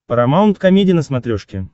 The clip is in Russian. парамаунт комеди на смотрешке